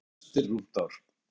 Það er eftir rúmt ár.